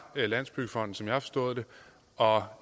landsbyggefonden som jeg har forstået det og